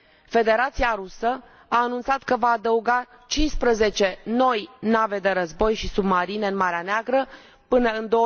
Federația Rusă a anunțat că va adăuga 15 noi nave de război și submarine în Marea Neagră, până în